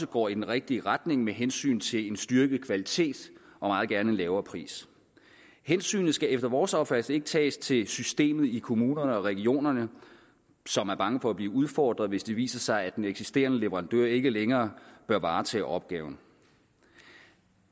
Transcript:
går i den rigtige retning med hensyn til en styrket kvalitet og meget gerne en lavere pris hensynet skal efter vores opfattelse ikke tages til systemet i kommunerne og regionerne som er bange for at blive udfordret hvis det viser sig at den eksisterende leverandør ikke længere bør varetage opgaven